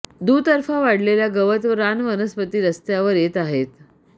दुतर्फा वाढलेल्या गवत व रान वनस्पती रस्त्यावर येत आहेत